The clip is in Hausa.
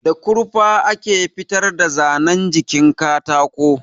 Da kurfa ake fitar da zanan jikin katako